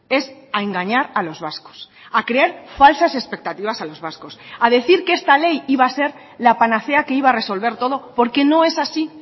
es a engañar a los vascos a crear falsas expectativas a los vascos a decir que esta ley iba a ser la panacea que iba a resolver todo porque no es así